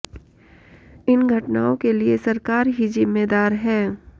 इन घटनाओं के लिए सरकार ही जिम्मेदार है